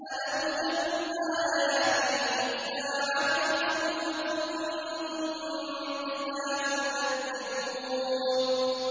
أَلَمْ تَكُنْ آيَاتِي تُتْلَىٰ عَلَيْكُمْ فَكُنتُم بِهَا تُكَذِّبُونَ